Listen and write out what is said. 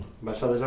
Embaixada